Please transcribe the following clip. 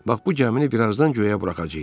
Bax bu gəmini birazdan göyə buraxacaıq.